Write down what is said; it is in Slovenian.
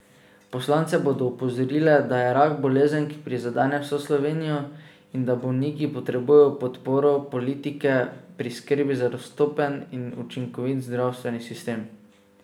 Poslance bodo opozorile, da je rak bolezen, ki prizadene vso Slovenijo, in da bolniki potrebujejo podporo politike pri skrbi za dostopen in učinkovit zdravstveni sistem.